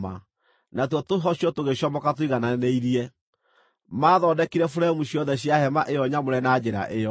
natuo tũhocio tũgĩcomoka tũigananĩirie. Maathondekire buremu ciothe cia hema ĩyo nyamũre na njĩra ĩyo.